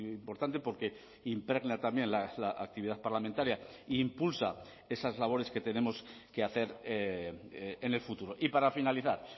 importante porque impregna también la actividad parlamentaria e impulsa esas labores que tenemos que hacer en el futuro y para finalizar